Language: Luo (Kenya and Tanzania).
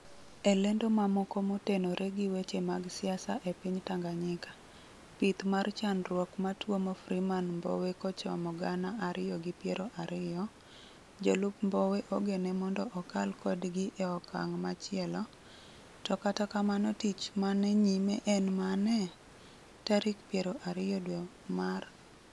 e lendo mamoko motenore gi weche mag siasa e piny tanganyika: pith mar chandruok matuomo Freeman mbowe kochomo gana ariyo gi pero ariyo, jolup Mbowe ogene mondo okal kodgi e okang' machielo, to katakamno tich man e nyime en mane? Tarik piero ariyo dwe mar